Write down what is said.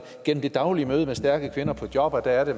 gennem det daglige møde med stærke kvinder på jobbet at